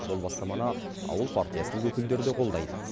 бұл бастаманы ауыл партиясының өкілдері де қолдайды